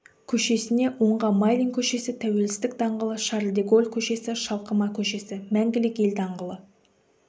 көшесіне оңға майлин көшесі тәуелсіздік даңғылы шарль де голль көшесі шалқыма көшесі мәңгілік ел даңғылы